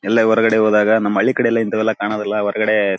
ಎಲ್ಲ ಹೊರಗಡೆ ಹೋದಾಗ ನಮ್ ಹಳ್ಳಿಕಡೆ ಇಂಥವೆಲ್ಲ ಕಾಣೋದಿಲ್ಲ ಹೊರಗಡೆ--